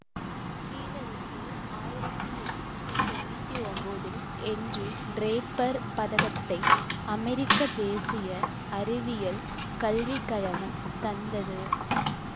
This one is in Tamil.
கீலருக்கு ஆயிரத்தி எட்ணூத்தி தொன்னூத்தி ஒம்போதில் என்றி டிரேப்பர் பதகத்தை அமெரிக்க தேசிய அறிவியல் கல்விக்கழகம் தந்தது